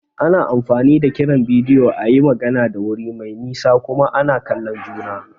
Ana amfani da kiran bidiyo a yi magana da wuri mai nisa kuma ana kallon juna.